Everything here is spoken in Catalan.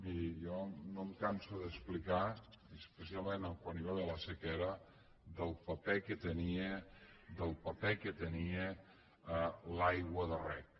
miri jo no em canso d’explicar i especialment quan hi va haver la sequera el paper que tenia el paper que tenia l’aigua de reg